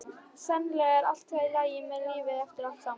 Sennilega er allt í lagi með lífið eftir allt saman.